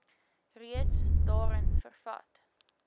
reeds daarin vervat